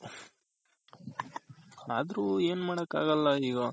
ಅದ್ರು ಎನ್ ಮಾಡಕ್ ಆಗಲ್ಲ ಈಗ .